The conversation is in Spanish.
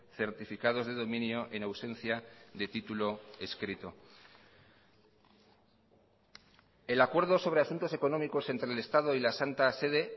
certificados de dominio en ausencia de título escrito el acuerdo sobre asuntos económicos entre el estado y la santa sede